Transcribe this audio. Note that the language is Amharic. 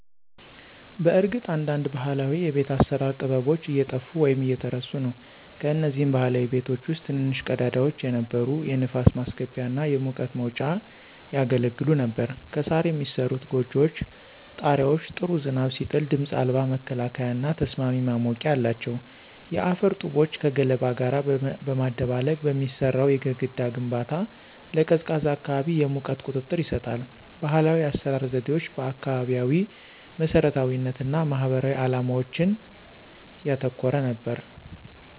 በእርግጥ አንዳንድ ባህላዊ የቤት አሰራር ጥበቦች እየጠፉ ወይም እየተረሱ ነው። ከነዚህም ባህላዊ ቤቶች ውስጥ ትንንሽ ቀዳዳዎች የነበሩ የንፋስ ማስገቢያ እና የሙቀት መውጫ ያገለግሉ ነበር። ከሣር የሚሠሩት ጎጆዎች ጣሪያዎች ጥሩ ዝናብ ሲጥል ድምፅ አልባ መከላከያና ተስማሚ ማሞቂያ አላቸው። የአፈር ጡቦችን ከገለባ ጋር በማደባለቅ የሚሠራው የግድግዳ ግንባታ ለቀዝቃዛ አካባቢ የሙቀት ቁጥጥር ይሰጣል። ባህላዊ የአሰራር ዘዴዎች አካባቢያዊ መሰረታዊነት እና ማህበራዊ ዓላማዎችን ያተኮረ ነበር።